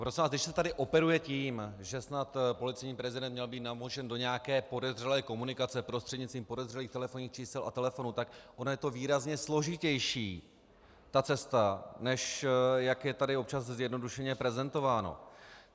Prosím vás, když se tady operuje tím, že snad policejní prezident měl být namočen do nějaké podezřelé komunikace prostřednictvím podezřelých telefonních čísel a telefonů, tak ono je to výrazně složitější, ta cesta, než jak je tady občas zjednodušeně prezentováno.